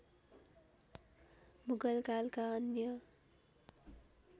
मुगल कालका अन्य